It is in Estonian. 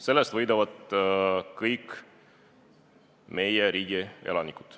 Sellest võidavad kõik meie riigi elanikud.